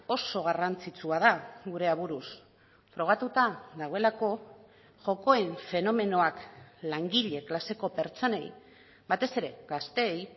oso garrantzitsua da gure aburuz frogatuta dagoelako jokoen fenomenoak langile klaseko pertsonei batez ere gazteei